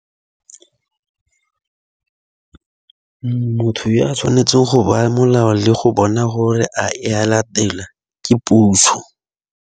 Motho yo a tshwanetseng go baya molao le go bona gore a e a latela ke puso.